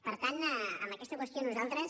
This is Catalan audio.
per tant en aquesta qüestió nosaltres